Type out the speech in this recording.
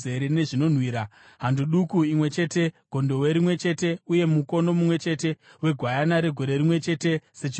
hando duku imwe chete, gondobwe rimwe chete uye mukono mumwe chete wegwayana regore rimwe chete, sechipiriso chinopiswa;